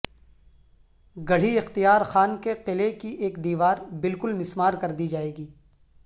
گڑھی اختیار خان کے قلعے کی ایک دیوار بالکل مسمار کر دی جائے گی